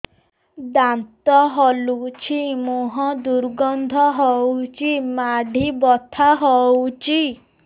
ଦାନ୍ତ ହଲୁଛି ମୁହଁ ଦୁର୍ଗନ୍ଧ ହଉଚି ମାଢି ବଥା ହଉଚି